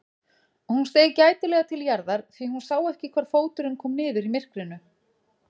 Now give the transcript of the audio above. Hún steig gætilega til jarðar því hún sá ekki hvar fóturinn kom niður í myrkrinu.